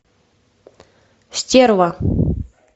стерва